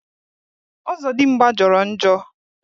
Ọzọdimgbà jọrọ njọ